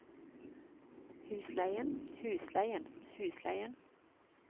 husleien husleien husleien